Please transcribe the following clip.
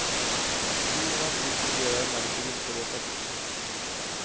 Djur och natur fungerar emellertid inte på det sättet.